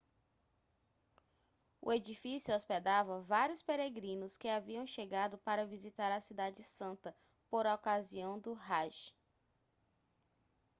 o edifício hospedava vários peregrinos que haviam chegado para visitar a cidade santa por ocasião do hajj